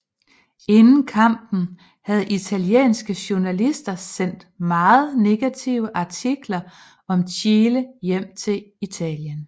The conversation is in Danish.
Inden kampen havde italienske journalister sendt meget negative artikler om Chile hjem til Italien